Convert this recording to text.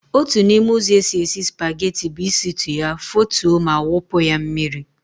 Otu n'ime ụzọ esi esi spageti bụ ịsịtụ ya, fotuo ma wụpụ ya mmiri.